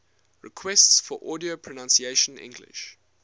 requests for audio pronunciation english